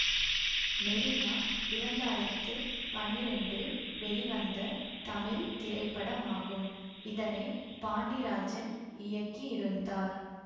மெரினா இரண்டு ஆயிரத்து பனிரெண்டில் வெளிவந்த தமிழ் திரைப்படமாகும் இதனை பாண்டிராஜன் இயக்கியிருந்தார்